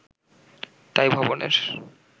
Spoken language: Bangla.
তাই 'ভবন'-এর